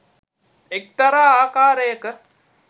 එක්තරා ආකාරයක